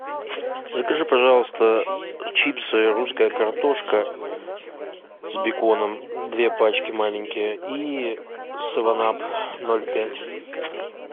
закажи пожалуйста чипсы русская картошка с беконом две пачки маленькие и севен ап ноль пять